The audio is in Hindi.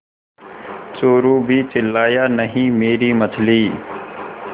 चोरु भी चिल्लाया नहींमेरी मछली